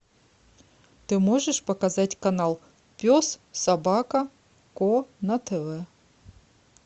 ты можешь показать канал пес собака ко на тв